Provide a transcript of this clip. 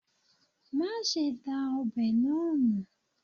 Mase da obe naa nu